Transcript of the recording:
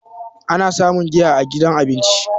ana samun giya a gidan abinci